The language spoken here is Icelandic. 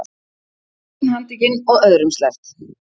Einn handtekinn og öðrum sleppt